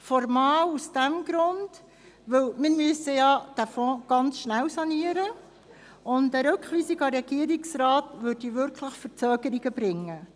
Formal aus dem Grund, dass wir den Fonds sehr rasch sanieren müssen, und eine Rückweisung an den Regierungsrat brächte wirklich Verzögerungen mit sich.